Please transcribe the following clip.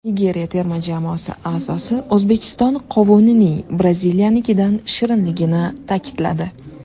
Nigeriya terma jamoasi a’zosi O‘zbekiston qovunining Braziliyanikidan shirinligini ta’kidladi.